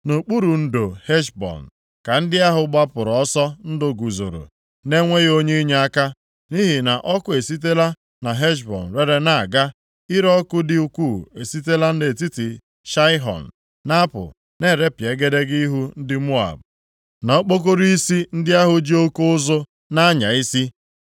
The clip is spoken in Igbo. “Nʼokpuru ndo Heshbọn ka ndị ahụ gbapụrụ ọsọ ndụ guzoro, na-enweghị onye inyeaka. Nʼihi na ọkụ esitela na Heshbọn rere na-aga; ire ọkụ dị ukwuu esitela nʼetiti Saịhọn na-apụ, na-erepịa egedege ihu ndị Moab, na okpokoro + 48:45 Maọbụ, opu isi isi ndị ahụ ji oke ụzụ + 48:45 Maọbụ, mkpọtụ na-anya isi.